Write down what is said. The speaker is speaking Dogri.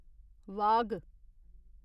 वाघ